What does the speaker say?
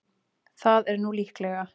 Það er nú líklega.